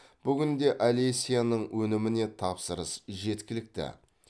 бүгінде олесяның өніміне тапсырыс жеткілікті